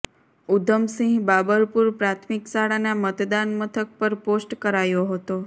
ઉધમસિંહ બાબરપુર પ્રાથમિક શાળાના મતદાન મથક પર પોસ્ટ કરાયો હતો